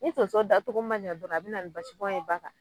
Ni tonso datogo ma ɲɛ dɔrɔn a bɛna ni basibɔn ye ba la.